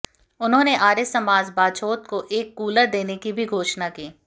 उन्होंने आर्य समाज बाछौद को एक कूलर देने की भी घोषणा की